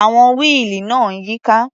Àwọn wíìlì náà ń yíká.